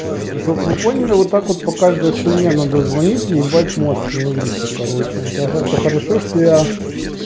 чтобы вы поняли вот так вот по каждой хуйне надо звоните ебать мозг на иврите короче это хорошо что я